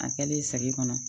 A kɛlen segin kɔnɔ